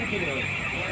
Elə eləyir.